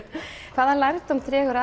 hvaða lærdóm dregur